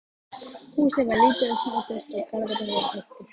Húsið var lítið og snoturt og garðurinn vel hirtur.